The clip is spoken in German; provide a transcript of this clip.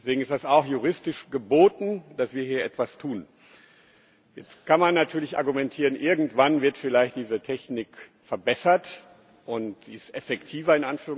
Deswegen ist es auch juristisch geboten, dass wir hier etwas tun. Jetzt kann man natürlich argumentieren, irgendwann wird vielleicht diese Technik verbessert und ist effektiver.